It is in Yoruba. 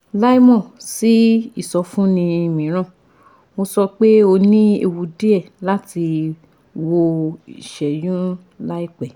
láìmọ̀ sí ìsọfúnni mìíràn, mo sọ pé o ní ewu díẹ̀ láti wọ ìṣẹ́yún láìpẹ́